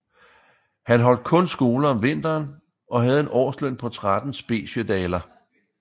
Han holdt kun skole om vinteren og havde en årsløn på 13 speciedaler